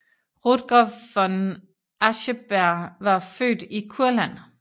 Rutger von Ascheberg var født i Kurland